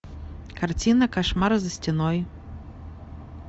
картина кошмары за стеной